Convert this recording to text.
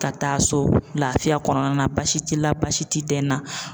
Ka taa so laafiya kɔnɔna na baasi t'i la baasi ti dɛn na.